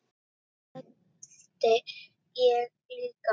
Það held ég líka